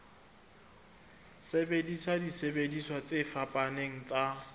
sebedisa disebediswa tse fapaneng tsa